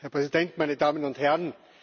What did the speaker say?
Herr Präsident, meine Damen und Herren!